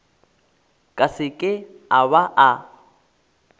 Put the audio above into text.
ka seke a ba a